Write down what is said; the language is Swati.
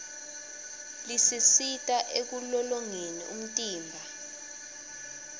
lisisita ekulolongeni umtimba